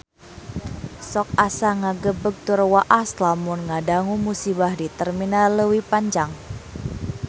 Sok asa ngagebeg tur waas lamun ngadangu musibah di Terminal Leuwi Panjang